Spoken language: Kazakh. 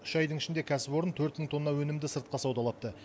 үш айдың ішінде кәсіпорын төрт мың тонна өнімді сыртқа саудалапты